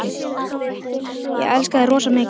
Ég elska þig rosa mikið.